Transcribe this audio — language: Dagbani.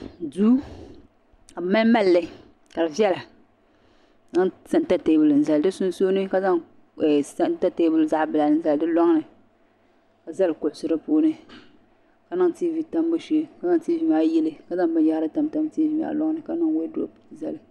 Duu ka bɛ mali malili ka di viɛla ka bɛ zaŋ santa teebuli n zali di sunsuuni ka zaŋ santa teebuli zaɣa bila m zali di loŋni ka zali kuɣusi di puuni ka niŋ tiivi tambu shee ka zaŋ tiivi maa yili ka zaŋ binyahari tam tam teebuli maa loŋni ka niŋ wodupu zali.